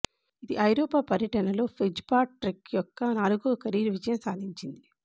ఇది ఐరోపా పర్యటనలో ఫిట్జ్పాట్రిక్ యొక్క నాలుగో కెరీర్ విజయం సాధించింది